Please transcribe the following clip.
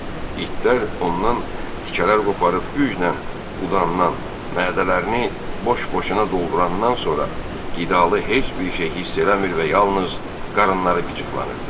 İtlər ondan tikələr qoparıb güclə udandan, mədələrini boş-boşuna doldurandan sonra qidalı heç bir şey hiss eləmir və yalnız qarınları qıcıqlanırdı.